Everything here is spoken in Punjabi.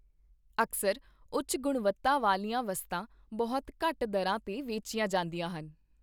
ਅਕਸਰ ਉੱਚ ਗੁਣਵੱਤਾ ਵਾਲੀਆਂ ਵਸਤਾਂ ਬਹੁਤ ਘੱਟ ਦਰਾਂ 'ਤੇ ਵੇਚੀਆਂ ਜਾਂਦੀਆਂ ਹਨ।